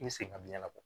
I bɛ segin ka biɲɛn labɔ